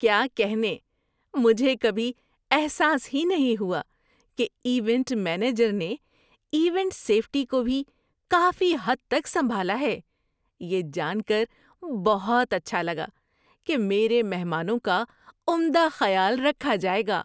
کیا کہنے، مجھے کبھی احساس ہی نہیں ہوا کہ ایونٹ مینیجر نے ایونٹ سیفٹی کو بھی کافی حد تک سنبھالا ہے! یہ جان کر بہت اچھا لگا کہ میرے مہمانوں کا عمدہ خیال رکھا جائے گا۔